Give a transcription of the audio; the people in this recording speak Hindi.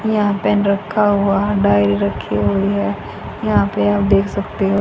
यहां पेन रखा हुआ डायरी रखी हुई है यहां पर आप देख सकते हो।